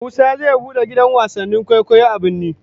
Musa zai bude gidan wasannin kwaikwayo a birni